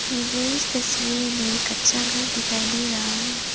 मुझे इस तस्वीर में कच्चा घर दिखाई दे रहा है।